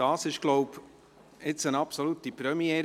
Das ist jetzt, so glaube ich, eine absolute Premiere.